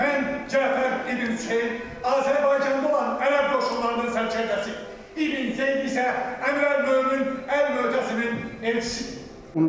Mən Cəfər İbn Hüseyn Azərbaycanda olan ərəb qoşunlarının sərkərdəsiyəm, İbn Zeyd isə Əmirəl Mömin Əl Möhtəsimin elçisidir.